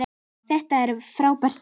Þetta er frábær bók.